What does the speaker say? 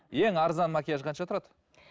ең арзан макияж қанша тұрады